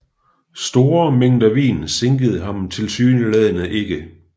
Store mængder vin sinkede ham tilsyneladende ikke